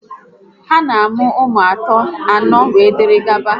Ha na-amụ ụmụ atọ, anọ, wee dịrị gaba